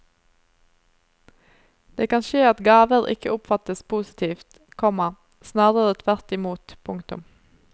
Det kan skje at gaver ikke oppfattes positivt, komma snarere tvert imot. punktum